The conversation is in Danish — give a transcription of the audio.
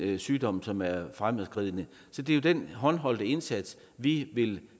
den sygdom som er fremadskridende så det er jo den håndholdte indsats vi vil